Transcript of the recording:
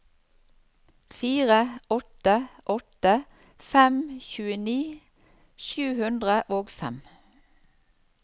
fire åtte åtte fem tjueni sju hundre og fem